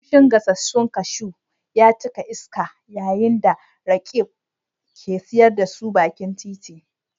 Kamshin gasassun kashu ya cika iska yayin da Roqeeb ke siyar da su bakin titi.